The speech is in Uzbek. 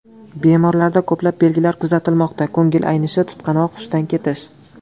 Bemorlarda ko‘plab belgilar kuzatilmoqda ko‘ngil aynishi, tutqanoq, hushdan ketish.